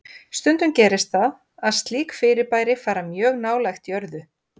Stundum gerist það að slík fyrirbæri fara mjög nálægt jörðu.